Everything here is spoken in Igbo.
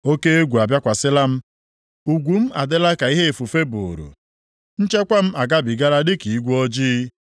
Oke egwu abịakwasịla m; ugwu m adịla ka ihe ifufe buuru, nchekwa m agabigala dịka igwe ojii.